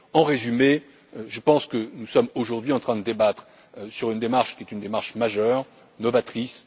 En résumé, je pense que nous sommes aujourd'hui en train de débattre sur une démarche qui est une démarche majeure et novatrice.